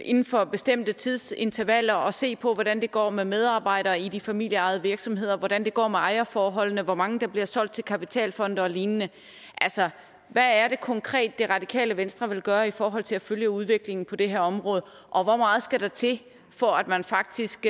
inden for bestemte tidsintervaller at se på hvordan det går med medarbejdere i de familieejede virksomheder hvordan det går med ejerforholdene hvor mange der bliver solgt til kapitalfonde og lignende altså hvad er det konkret det radikale venstre vil gøre i forhold til at følge udviklingen på det her område og hvor meget skal der til for at man faktisk